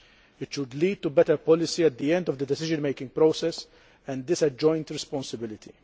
It should lead to better policy at the end of the decision making process and is a joint responsibility.